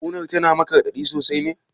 Ƙunar tana maka raɗaɗi sosai ne?